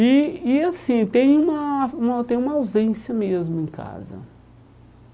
E e assim, tem uma uma tem uma ausência mesmo em casa.